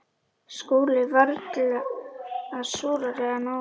SKÚLI: Varla súrari en áður.